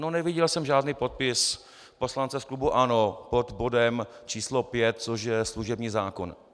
No neviděl jsem žádný podpis poslance z klubu ANO pod bodem číslo 5, což je služební zákon.